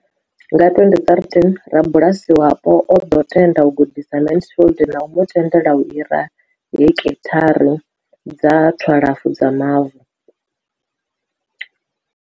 Nga 2013, rabulasi wapo o ḓo tenda u gudisa Mansfield na u mu tendela u hira heki tharu dza 12 dza mavu.